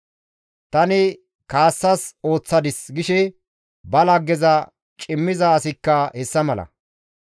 «Tani kaassas ooththadis» gishe ba laggeza cimmiza asikka hessa mala.